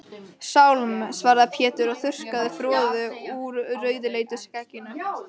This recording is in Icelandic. Sálm, svaraði Pétur og þurrkaði froðu úr rauðleitu skegginu.